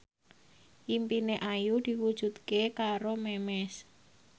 impine Ayu diwujudke karo Memes